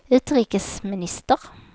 utrikesminister